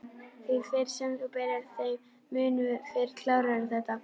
Því fyrr sem þú byrjar þeim mun fyrr klárarðu þetta